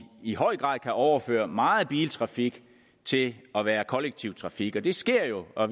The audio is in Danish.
i høj grad kan overføre meget biltrafik til at være kollektiv trafik det sker jo og